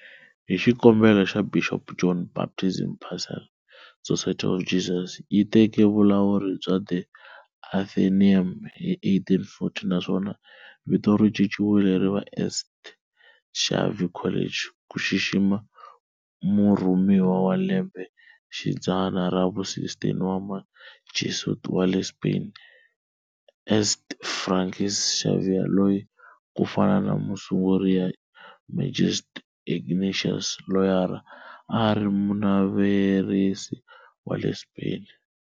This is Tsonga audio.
Hi xikombelo xa Bishop John Baptist Purcell, Society of Jesus yi teke vulawuri bya The Athenaeum hi 1840, naswona vito ri cinciwile ri va St. Xavier College ku xixima murhumiwa wa lembe xidzana ra vu-16 wa Mujesuit wa le Spain, St. Francis Xavier loyi, ku fana na musunguri ya Majesuit, Ignatius Loyola, a a ri Munavarrese wa le Spain.